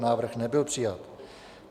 Návrh nebyl přijat.